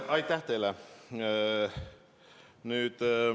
Aitäh teile!